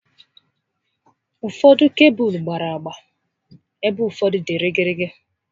Ụfọdụ kebụlụ gbárá agba ebe ụfọdụ dị gịrịgịrị